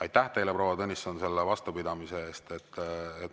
Aitäh teile, proua Tõnisson, selle vastupidamise eest!